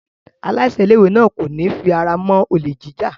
Aláṣẹ ilé-ìwé náà kò ní fi ara mọ́ olè jíjà.